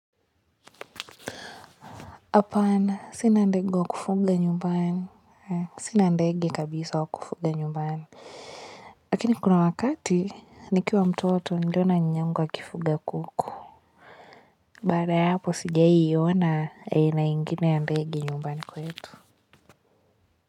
Hapana sina ndege wa kufuga nyumbani, sina ndege kabisa wa kufuga nyumbani. Lakini kuna wakati nikiwa mtoto nliona nyanyangu akifuga kuku. Baada ya hapo sijawahi ona aina ingine ya ndege nyumbani kwetu.